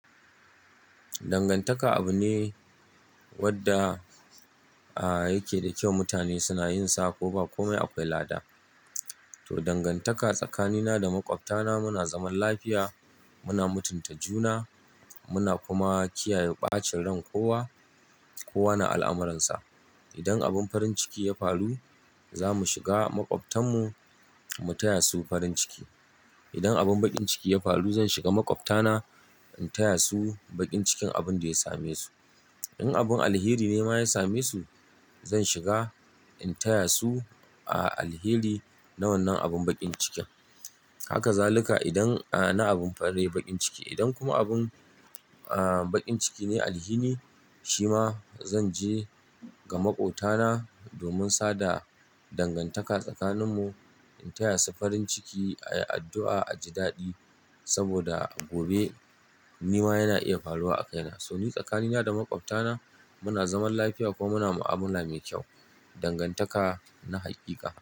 Dangantaka abu ne wanda, ah yake da kyau. Mutane suna yin sa ko ba komai akwai lada. To, dangantaka tsakanina da maƙwabtana muna zaman lafiya, muna mutunta juna, muna kuma kiyaye ɓacin ran kowa. Kowa na al'amuransa. Idan abin farin ciki ya faru, za mu shiga maƙwabtan mu, mu taya su farin ciki. Idan abin baƙin ciki ya faru, zan shiga maƙwabtana, in taya su baƙin cikin abun da ya same su. In abin alheri ne ma ya same su, zan shiga in taya su a alheri na wannan abin baƙin cikin. Haka zaluka idan a na abin farin baƙin ciki. Idan kuma abun a baƙin ciki ne alhini, shi ma zan je ga maƙwabtana domin sada dangantaka tsakaninmu, in taya su farin ciki, ayi addu'a a ji daɗi saboda gobe ni ma yana iya faruwa a kaina. So ni tsakani na da maƙwabtana muna zaman lafiya ko muna mu'amala mai kyau. Dangantaka na haƙiƙa.